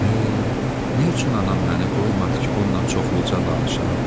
Ey, nə üçün anam məni qoymadı ki, onunla çoxluca danışam?